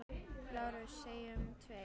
LÁRUS: Segjum tveir!